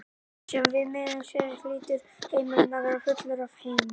Sé viðmiðunin þessi hlýtur heimurinn að vera fullur af heiðingjum.